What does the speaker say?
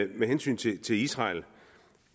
med hensyn til til israel at